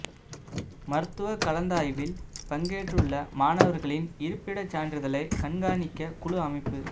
மருத்துவ கலந்தாய்வில் பங்கேற்றுள்ள மாணவர்களின் இருப்பிட சான்றிதழை கண்காணிக்க குழு அமைப்பு